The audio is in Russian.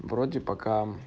вроде пока